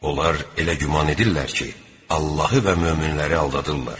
Onlar elə güman edirlər ki, Allahı və möminləri aldadırlar.